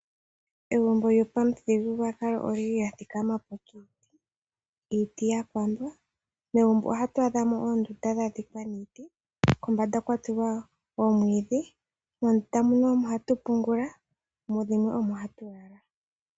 Egumbo lyopamuthigululwakalo olya thikamapo kiiti yakambwa. Megumbo oha mu adhika oondunda dhoomwiidhi dha dhikwa niiti. Moondunda muno omo hatu pungula nenge tu lale.